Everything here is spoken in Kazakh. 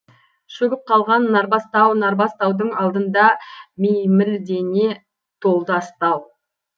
шөгіп қалған нарбас тау нарбас таудың алдында меймілдене толды астау